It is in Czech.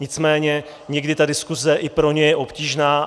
Nicméně někdy ta diskuse i pro ně je obtížná.